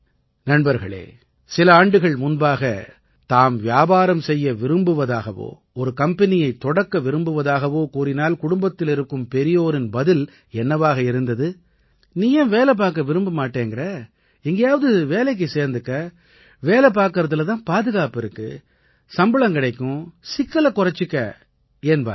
நண்பர்களே சில ஆண்டுகள் முன்பாக தாம் வியாபாரம் செய்ய விரும்புவதாகவோ ஒரு கம்பெனியைத் தொடக்க விரும்புவதாகவோ கூறினால் குடும்பத்தில் இருக்கும் பெரியோரின் பதில் என்னவாக இருந்தது நீ ஏன் வேலை பார்க்க விரும்ப மாட்டேன் என்கிறாய் எங்காவது சேர்ந்து வேலை பார் வேலை பார்ப்பதிலே தான் பாதுகாப்பு இருக்கிறது ஊதியம் கிடைக்கும் சிக்கலைக் குறைத்துக் கொள் என்பார்கள்